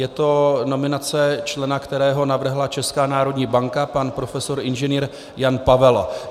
Je to nominace člena, kterého navrhla Česká národní banka, pan profesor Ing. Jan Pavel.